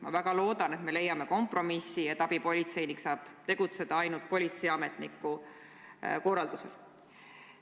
Ma väga loodan, et me leiame kompromissi, et abipolitseinik saab tegutseda ainult politseiametniku korraldusel.